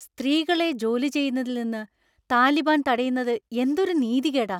സ്ത്രീകളെ ജോലി ചെയ്യുന്നതിൽ നിന്ന് താലിബാൻ തടയുന്നത് എന്തൊരു നീതികേടാ!